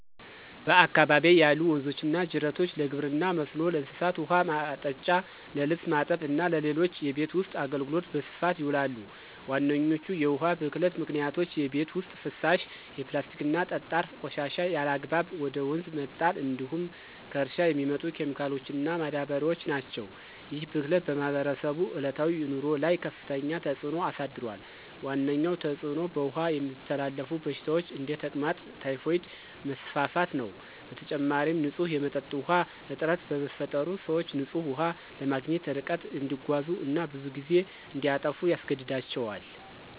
በአካባቢዬ ያሉ ወንዞችና ጅረቶች ለግብርና መስኖ፣ ለእንስሳት ውኃ ማጠጫ፣ ለልብስ ማጠብ እና ለሌሎች የቤት ውስጥ አገልግሎት በስፋት ይውላሉ። ዋነኞቹ የውሃ ብክለት ምክንያቶች የቤት ውስጥ ፍሳሽ፣ የፕላስቲክና ጠጣር ቆሻሻ ያለአግባብ ወደ ወንዝ መጣል እንዲሁም ከእርሻ የሚመጡ ኬሚካሎችና ማዳበሪያዎች ናቸው። ይህ ብክለት በማህበረሰቡ ዕለታዊ ኑሮ ላይ ከፍተኛ ተጽዕኖ አሳድሯል። ዋነኛው ተጽዕኖ በውሃ የሚተላለፉ በሽታዎች (እንደ ተቅማጥና ታይፎይድ) መስፋፋት ነው። በተጨማሪም፣ ንጹህ የመጠጥ ውሃ እጥረት በመፈጠሩ፣ ሰዎች ንጹህ ውሃ ለማግኘት ርቀት እንዲጓዙ እና ብዙ ጊዜ እንዲያጠፉ ያስገድዳቸዋል።